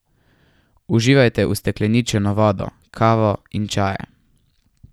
Uživajte ustekleničeno vodo, kavo in čaje.